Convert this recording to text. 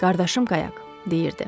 Qardaşım qayaq, deyirdi.